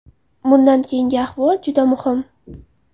Bundan keyingi ahvol juda muhim.